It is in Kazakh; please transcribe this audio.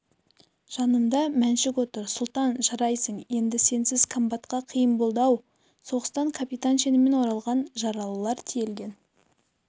жанымда мәншүк отыр сұлтан жарайсың енді сенсіз комбатқа қиын болады-ау соғыстан капитан шенімен оралған жаралылар тиелген